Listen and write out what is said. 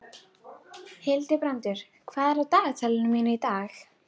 Hildibrandur, hvað er á dagatalinu mínu í dag?